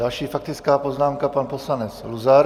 Další faktická poznámka, pan poslanec Luzar.